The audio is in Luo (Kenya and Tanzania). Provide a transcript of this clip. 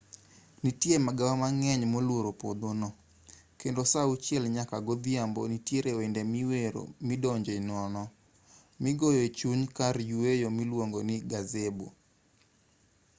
nitie magawa mang'eny moluoro puodhono kendo saa uchiel nyaka godhiambo nitiere wende miwero midonje nono migoyo echuny kar yueyo miluongo ni gazebo.